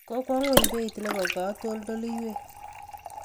Kokwo ngweny beit nebo katoldoiwek